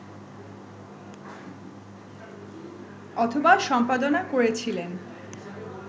অথবা সম্পাদনা করেছিলেন